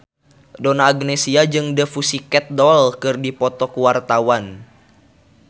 Donna Agnesia jeung The Pussycat Dolls keur dipoto ku wartawan